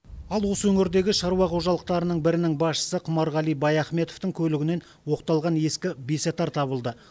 ал осы өңірдегі шаруа қожалықтарының бірінің басшысы құмарғали баяхметовтың көлігінен оқталған ескі бесатар табылды